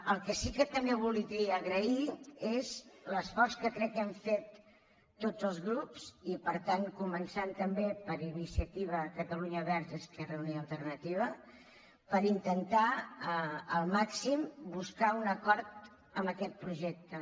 el que sí que també voldria agrair és l’esforç que crec que hem fet tots els grups i per tant començant també per iniciativa catalunya verds i esquerra unida i alternativa per intentar al màxim buscar un acord en aquest projecte